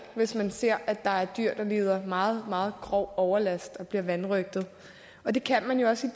hvis man ser at der er dyr der lider meget meget grov overlast og bliver vanrøgtet og det kan man jo også